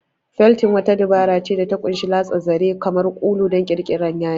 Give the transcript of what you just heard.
Feltin wata dabara ce da ta ƙunshi latsa zare, kamar ulu, don ƙirƙirar yadi.